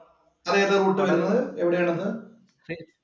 അത് ഏത് റൂട്ട് ആണത്. എവിടെയാണത്?